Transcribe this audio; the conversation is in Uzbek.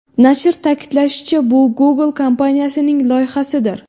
Nashr ta’kidlashicha, bu Google kompaniyasining loyihasidir.